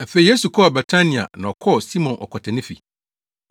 Afei Yesu kɔɔ Betania na ɔkɔɔ Simon ɔkwatani fi.